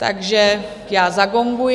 Takže já zagonguji.